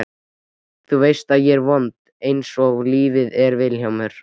Nú veistu að ég er vond einsog lífið er Vilhjálmur.